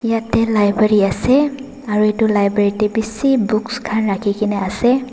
yete library ase aro yete library te beshi books khan rakhikena ase.